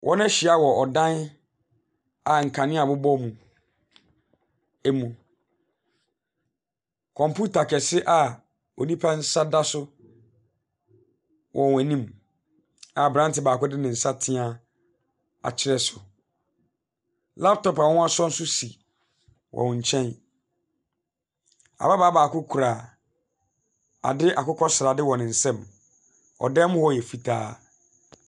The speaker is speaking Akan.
Ɔhyia wɔ dan a nkanea bobɔ mu emu. Kɔmputa kɛse a onipa nsa da so wɔ wɔn anim a abrante baako de ne nsa tea akyerɛ so. Laptop a wɔasɔ nso si wɔn nkyɛn. Ababaa baako kura ade akokɔsrade wɔ ne nsam. Ɔdan mu yɛ fitaa.